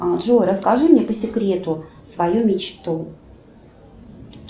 джой расскажи мне по секрету свою мечту